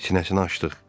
Sinəsini açdıq.